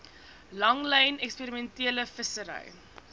langlyn eksperimentele vissery